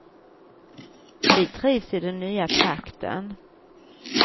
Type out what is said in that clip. Vi trivs i den nya trakten.